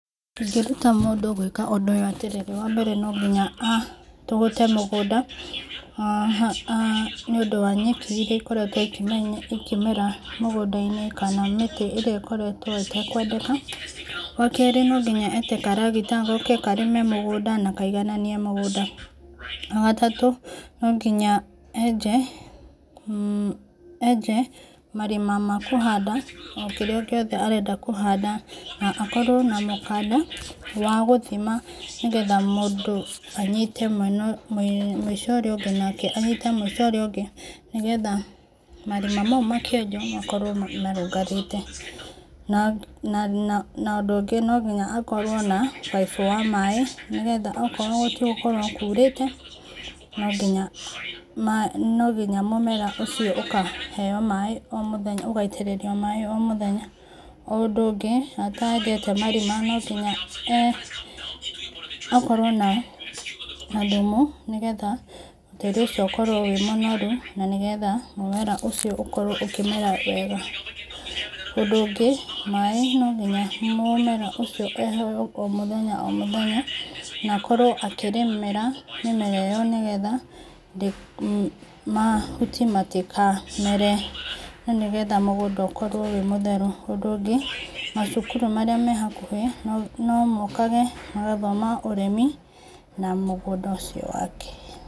Ingĩruta mũndũ gwĩka ũndũ atĩrĩrĩ wa mbere nĩ no nginya atũgũte mũgũnda nĩ ũndũ wa nyeki ĩkoretwo ĩkĩmera mũgũnda-inĩ kana mĩtĩ ĩrĩa ĩkoretwo ĩtekwendeka, wa kerĩ na mũhaka ete karagita goke karĩme na kaigananie mũgũnda, wagatatũ no nginya enje marima ma kũhanda o kĩrĩo gĩothe arenda kũhanda na akorwo ma mũkanda wa gũthima nĩgetha mũndũ anyite mwena ũyũ, mũico ũrĩa ũngĩ na anyite mũico ũrĩa ũngĩ nĩgetha marima macio makĩenjwo makorwo marũngarĩte na ũndũ ũngĩ no mũhaka akorwo na mũbaibũ wa maĩ, nĩgetha angĩkorwo gũtigũkorwo kurĩte no nginya mũmera ũcio ũkaheo maĩ o mũthenya, ũgaitĩrĩrio maĩ o mũthenya, ũndũ ũngĩ atenjete marima no nginya akorwo na thumu nĩgetha tĩri ũcio ũkorwo wĩ mũnoru nĩgetha mũmera ũcio ũkorwo ũkĩmera wega, ũndũ ũngĩ maĩ no nginya mũmera ũcio ũheo o mũthenya o mũthenya na akorwo akĩrĩmĩra mĩmera ĩyo nĩgetha mahuti matikamere na nĩgetha mũgũnda ũkorwo wĩ mũtheru, ũndũ ũngĩ macukuru marĩa mehakuhĩ no mokage gũthoma ũrĩmi na mũgũnda ũcio wake.